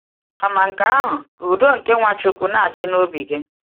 Kama nke ahụ, ka udo nke Nwachukwu na-achị n’obi gị.